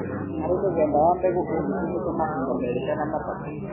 harĩ mũthemba wa mbegũ ũgĩtũmĩka mahinda merĩ kana matatũ